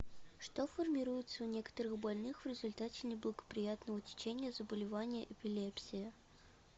что формируется у некоторых больных в результате неблагоприятного течения заболевания эпилепсия